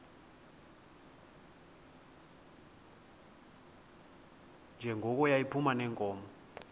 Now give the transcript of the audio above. njengoko yayiphuma neenkomo